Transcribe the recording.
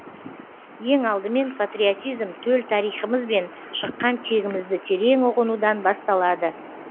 ең алдымен патриотизм төл тарихымыз бен шыққан тегімізді терең ұғынудан басталады